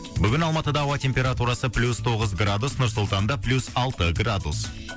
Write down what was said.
бүгін алматыда ауа температурасы плюс тоғыз градус нұр сұлтанда плюс алты градус